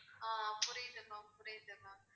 ஆஹ் புரியுது ma'am புரியுது ma'am